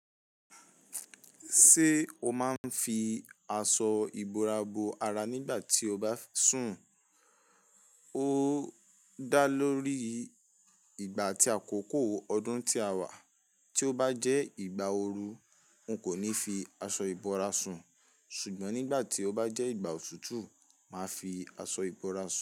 Ṣé o máa ń fi aṣọ ìbora bo ara nígbà tí o bá sùn? Ó dá lórí ìgbà àti àkókò ọdún tí a wà. Tí ó bá jẹ́ ìgbà ooru, n kò ní fi aṣọ ìbora sùn, ṣùgbọ́n nígbà tí ó bá jẹ́ ìgbà òtútù, màá fi aṣọ ìbora sùn.